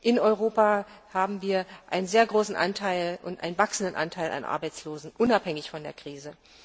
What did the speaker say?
In Europa haben wir einen sehr hohen und wachsenden Anteil an Arbeitslosen, unabhängig von der Krise.